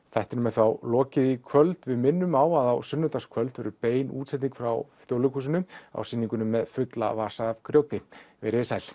þættinum er þá lokið í kvöld við minnum á að á sunnudagskvöld verður bein útsending frá Þjóðleikhúsinu á sýninguna með fulla vasa af grjóti veriði sæl